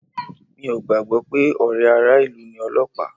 Mi ò gbàgbọ́ pé ọ̀rẹ́ ara ilu ni Ọlọ́pàá